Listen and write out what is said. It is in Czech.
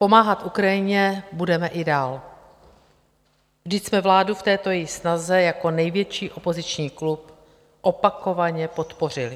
Pomáhat Ukrajině budeme i dál, vždyť jsme vládu v této její snaze jako největší opoziční klub opakovaně podpořili.